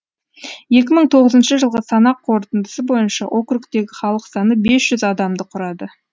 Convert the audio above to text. екі мың тоғызыншы жылғы санақ қорытындысы бойынша округтегі халық саны бес жүз адамды құрады